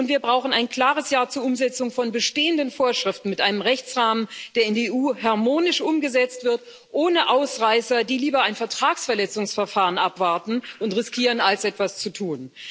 Und wir brauchen ein klares Ja zur Umsetzung von bestehenden Vorschriften mit einem Rechtsrahmen, der in der EU harmonisch umgesetzt wird, ohne Ausreißer, die lieber ein Vertragsverletzungsverfahren abwarten und riskieren als etwas zu tun.